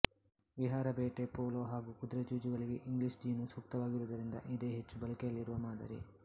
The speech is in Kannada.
ವಿಹಾರ ಬೇಟೆ ಪೋಲೋ ಹಾಗೂ ಕುದುರೆ ಜೂಜುಗಳಿಗೆ ಇಂಗ್ಲಿಷ್ ಜೀನು ಸೂಕ್ತವಾಗಿರುವುದರಿಂದ ಇದೇ ಹೆಚ್ಚು ಬಳಕೆಯಲ್ಲಿರುವ ಮಾದರಿ